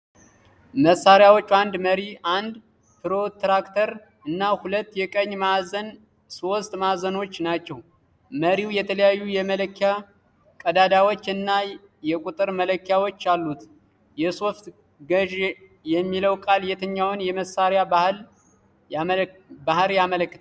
መሣሪያዎቹ አንድ መሪ፣ አንድ ፕሮትራክተር እና ሁለት የቀኝ ማዕዘን ሦስት ማዕዘኖች ናቸው። መሪው የተለያዩ የመለኪያ ቀዳዳዎች እና የቁጥር መለኪያዎች አሉት። የሶፍት ገዢ የሚለው ቃል የትኛውን የመሣሪያው ባህሪ ያመለክታል?